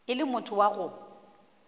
o le motho wa go